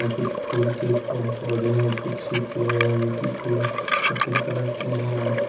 कुछ फूलों के पौधे हैं कुछ पेड़ है जो की फूल सफेद कलर के हैं।